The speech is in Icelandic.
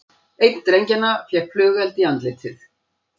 Einn drengjanna fékk flugeld í andlitið